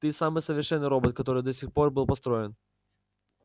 ты самый совершенный робот который до сих пор был построен